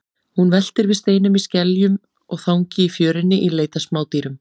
Hún veltir við steinum, skeljum og þangi í fjörunni í leit að smádýrum.